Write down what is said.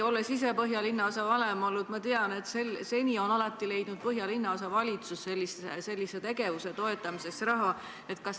Olles ise Põhja-Tallinna linnaosavanem olnud, ma tean, et seni on alati leidnud sellise tegevuse toetamiseks raha linnaosavalitsus.